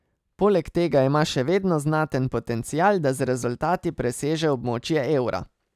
Poleg tega ima še vedno znaten potencial, da z rezultati preseže območje evra.